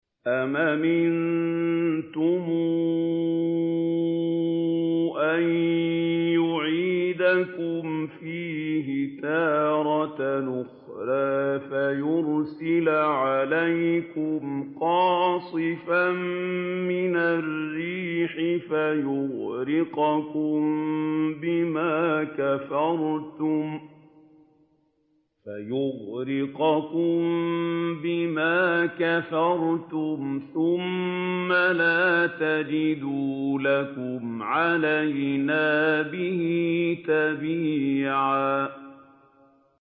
أَمْ أَمِنتُمْ أَن يُعِيدَكُمْ فِيهِ تَارَةً أُخْرَىٰ فَيُرْسِلَ عَلَيْكُمْ قَاصِفًا مِّنَ الرِّيحِ فَيُغْرِقَكُم بِمَا كَفَرْتُمْ ۙ ثُمَّ لَا تَجِدُوا لَكُمْ عَلَيْنَا بِهِ تَبِيعًا